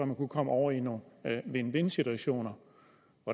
man kunne komme over i nogle win win situationer